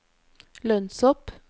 lønnshopp